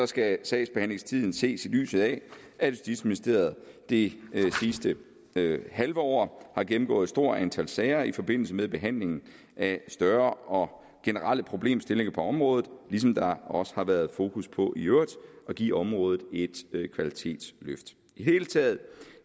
skal sagsbehandlingstiden ses i lyset af at justitsministeriet det sidste halve år har gennemgået et stort antal sager i forbindelse med behandlingen af større og generelle problemstillinger på området ligesom der også har været fokus på i øvrigt at give området et kvalitetsløft i det hele taget